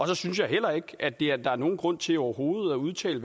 så synes jeg heller ikke der er nogen grund til overhovedet at udtale